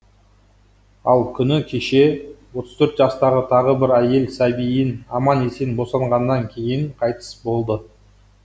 ал күні кеше отыз төрт жастағы тағы бір әйел сәбиін аман есен босанғаннан кейін қайтыс болды